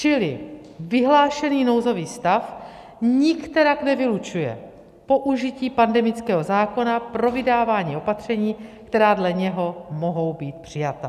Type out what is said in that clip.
Čili vyhlášený nouzový stav nikterak nevylučuje použití pandemického zákona pro vydávání opatření, která dle něho mohou být přijata.